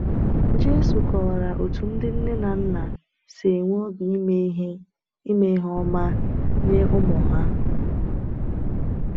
Jésù kọwara otú ndị nne na nna si enwe obi ime ihe ime ihe ọma nye ụmụ ha.